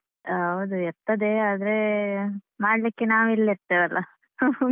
ಹೌದು ಇರ್ತದೆ ಆದರೆ ಮಾಡ್ಲಿಕ್ಕೆ ನಾವು ಇಲ್ಲಿರತಿವಿ ಅಲ್ಲ .